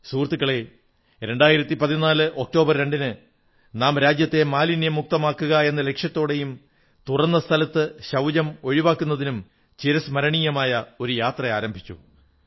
സുഹൃത്തുക്കളേ 2014 ഒക്ടോബർ 2 ന് നാം രാജ്യത്തെ മാലിന്യമുക്തമാക്കുകയെന്ന ലക്ഷ്യത്തോടെയും തുറന്ന സ്ഥലത്ത് ശൌചം ഒഴിവാക്കുന്നതിനും ചിരസ്മരണീയമായ ഒരു യാത്ര ആരംഭിച്ചു